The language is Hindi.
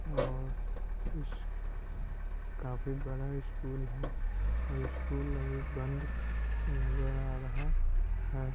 और इस काफी बड़ा स्कूल है और स्कूल अभी बंद नजर आ रहा है।